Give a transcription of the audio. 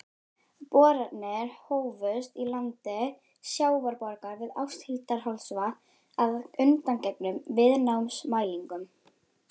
Boranir hófust í landi Sjávarborgar við Áshildarholtsvatn að undangengnum viðnámsmælingum.